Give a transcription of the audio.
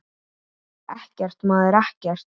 Ekkert, maður, ekkert.